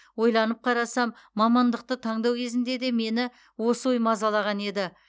ойланып қарасам мамандықты таңдау кезінде де мені осы ой мазалаған еді